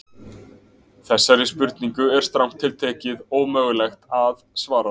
Þessari spurningu er strangt til tekið ómögulegt að svara.